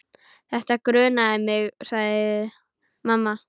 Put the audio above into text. Þetta grunaði mig, sagði mamma.